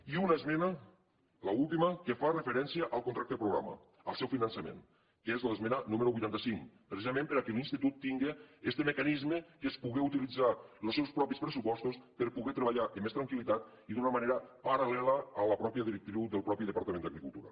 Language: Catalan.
i una esmena l’última que fa referència al contracte programa al seu finançament que és l’esmena número vuitanta cinc precisament perquè l’institut tingui este mecanisme que és poder utilitzar els seus propis pressupostos per poder treballar amb més tranquil·litat i d’una manera paral·lela a la mateixa directiu del mateix departament d’agricultura